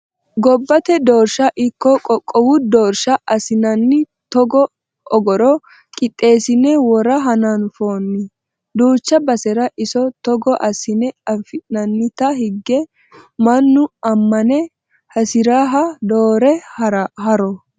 Gobbate doorsha ikko qoqqowu doorsha assinani togo ogoro qixesine wora hananfonni duucha basera iso togo assa afi'nannite hige mannu amane hasiriha doore haronna